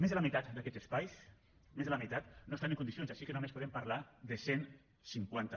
més de la meitat d’aquests espais més de la meitat no estan en condicions així que només podem parlar de cent i cinquanta